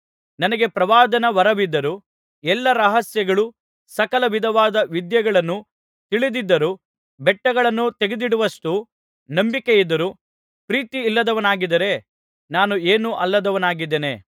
ನನಗೆ ಪ್ರವಾದನ ವರವಿದ್ದರೂ ಎಲ್ಲಾ ರಹಸ್ಯಗಳೂ ಸಕಲ ವಿಧವಾದ ವಿದ್ಯೆಗಳನ್ನು ತಿಳಿದ್ದರೂ ಬೆಟ್ಟಗಳನ್ನೂ ತೆಗೆದಿಡುವುಷ್ಟು ನಂಬಿಕೆಯಿದ್ದರೂ ಪ್ರೀತಿಯಿಲ್ಲದವನಾಗಿದ್ದರೆ ನಾನು ಏನೂ ಅಲ್ಲದವನಾಗಿದ್ದೇನೆ